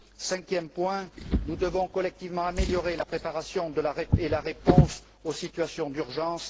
Cinquième point, nous devons collectivement améliorer la préparation et la réponse aux situations d'urgence.